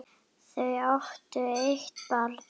Þau áttu eitt barn.